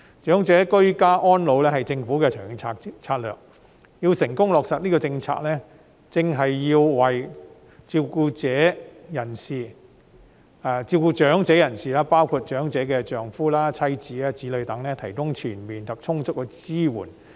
長者居家安老是政府的長遠策略，要成功落實這個政策，正是要為照顧長者的人士，包括其丈夫、妻子、子女等提供全面及充足的支援。